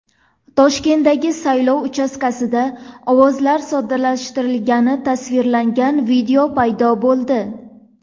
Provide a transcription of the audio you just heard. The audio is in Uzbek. Toshkentdagi saylov uchastkasida ovozlar soxtalashtirilgani tasvirlangan video paydo bo‘ldi.